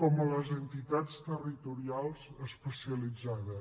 com a les entitats territorials especialitzades